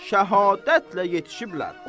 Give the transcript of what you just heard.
Şəhadətlə yetişiblər.